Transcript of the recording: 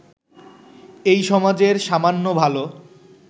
এই সমাজের সামান্য ভালো